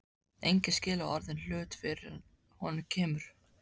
Enginn skilur orðinn hlut fyrr en að honum kemur.